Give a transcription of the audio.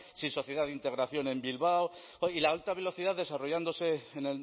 sin sociedad de integración en bilbao y la alta velocidad desarrollándose en